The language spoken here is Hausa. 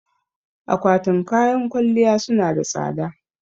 Akwatin kayan kwalliya su na da tsada